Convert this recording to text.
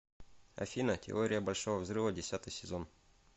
афина теория большого взрыва десятый сезон